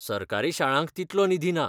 सरकारी शाळांक तितलो निधी ना.